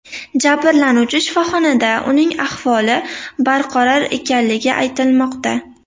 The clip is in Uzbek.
Jabrlanuvchi shifoxonada, uning ahvoli barqaror ekanligi aytilmoqda.